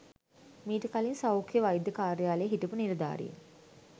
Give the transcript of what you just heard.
මීට කලින් සෞඛ්‍ය වෛද්‍ය කාර්යාලයේ හිටපු නිලධාරීන්